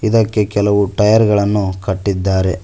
ಇದಕ್ಕೆ ಕೆಲವು ಟೈಯರ್ ಗಳನ್ನು ಕಟ್ಟಿದ್ದಾರೆ.